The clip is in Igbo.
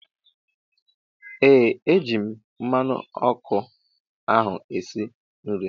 Ee eji m mmanụ ọkụ ahụ esi nri